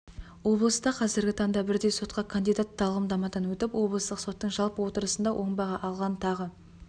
облыста қазіргі таңда бірдей сотқа кандидат тағлымдамадан өтіп облыстық соттың жалпы отырысында оң баға алған тағы